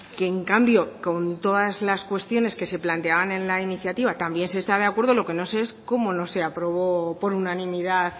que en cambio con todas las cuestiones que se planteaban en la iniciativa también se está de acuerdo lo que no sé es cómo no se aprobó por unanimidad